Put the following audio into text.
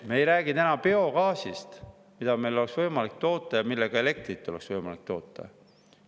Me ei räägi täna biogaasist, mida meil oleks võimalik toota ja millega oleks võimalik elektrit toota.